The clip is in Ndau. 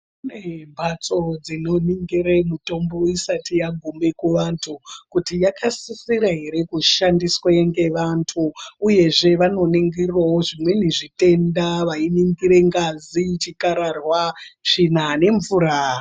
Kune mbatso dzino ningire mitombo isati yagume ku vantu kuti vaka sisira ere kushandiswe nge vantu uyezve vano ningirawo zvimweni zvitenda wei ningira ngazi zvikarahwa tsvina nge mvura.